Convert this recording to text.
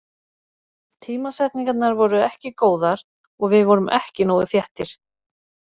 Tímasetningarnar voru ekki góðar og við vorum ekki nógu þéttir.